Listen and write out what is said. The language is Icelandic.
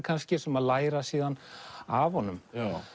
kannski sem að læra síðan af honum